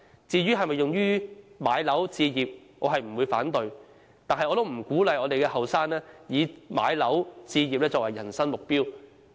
至於可否用於置業，我並不會反對，但我不鼓勵青年人以置業作為人生目標。